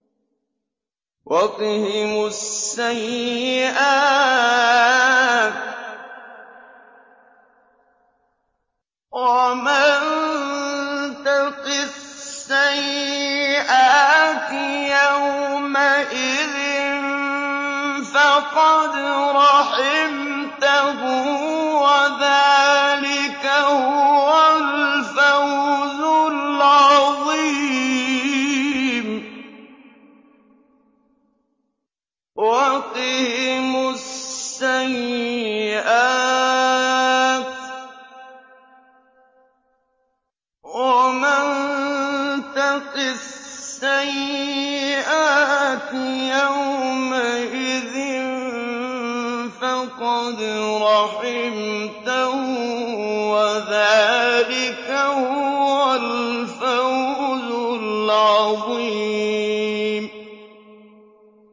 وَقِهِمُ السَّيِّئَاتِ ۚ وَمَن تَقِ السَّيِّئَاتِ يَوْمَئِذٍ فَقَدْ رَحِمْتَهُ ۚ وَذَٰلِكَ هُوَ الْفَوْزُ الْعَظِيمُ